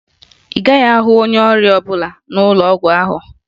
Ị gaghị ahụ onye ọrịa ọbụla n'ụlọ ọgwụ ahụ